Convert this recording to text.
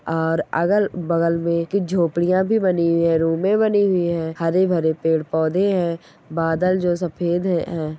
और अगल बगल में झोपड़ियां भी बनी हुई है रूमे बनी हुई है हरेभरे पेड़ पौधे है बादल जो सफ़ेद है।